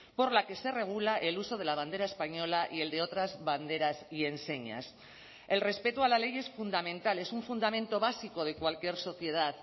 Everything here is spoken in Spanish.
por la que se regula el uso de la bandera española y el de otras banderas y enseñas el respeto a la ley es fundamental es un fundamento básico de cualquier sociedad